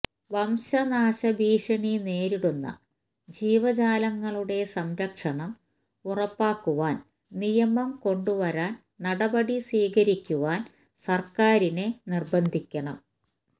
വംശനാശ ഭീഷണി നേരിടുന്ന ജീവജാലങ്ങളുടെ സംരക്ഷണം ഉറപ്പാക്കുവാന് നിയമം കൊണ്ടുവരാന് നടപടി സ്വീകരിക്കുവാന് സര്ക്കാറിനെ നിര്ബന്ധിക്കണം